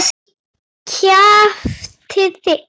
Ekki kjaftið þið.